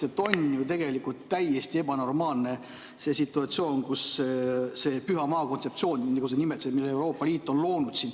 On ju tegelikult täiesti ebanormaalne see situatsioon, see püha maa kontseptsioon, nagu sa nimetasid, mille Euroopa Liit on loonud.